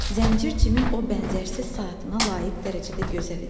Zəncir Cimin o bənzərsiz saatına layiq dərəcədə gözəl idi.